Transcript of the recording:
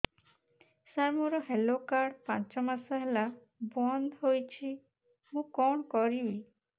ସାର ମୋର health card ପାଞ୍ଚ ମାସ ହେଲା ବଂଦ ହୋଇଛି ମୁଁ କଣ କରିବି